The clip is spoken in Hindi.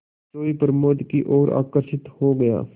सोए प्रमोद की ओर आकर्षित हो गया